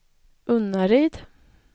Unnaryd